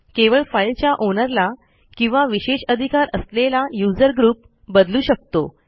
केवळ फाईलच्या ओनरला किंवा विशेष अधिकार असलेला यूझर ग्रुप बदलू शकतो